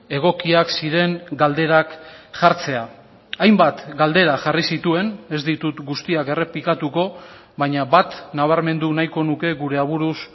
egokiak ziren galderak jartzea hainbat galdera jarri zituen ez ditut guztiak errepikatuko baina bat nabarmendu nahiko nuke gure aburuz